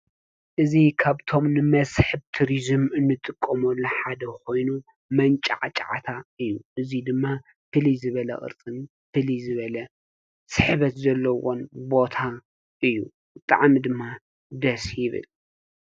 እዙይ ካብቶም ንመስሕብ ቱሪዚም እንጥቀመሉ ሓደ ኮይኑ መንጫዕጫታ እዩ። እዙይ ድማ ፍልይ ዝበለ፣ ቅርፂ ፍልይ ዝበለ ስሕበት ዘለዎን ቦታ እዩ። ብጣዕሚ ድማ ደስ ይብል።